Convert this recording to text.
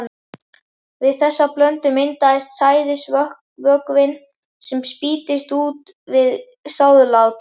Við þessa blöndun myndast sæðisvökvinn, sem spýtist út við sáðlát.